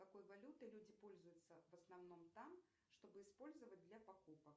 какой валютой люди пользуются в основном там чтобы использовать для покупок